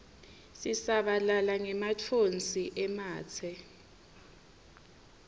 sisabalala ngematfonsi ematse